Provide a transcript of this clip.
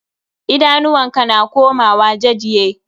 Idanuwan ka na komawa jajye.